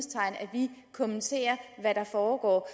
vi kommenterer hvad der foregår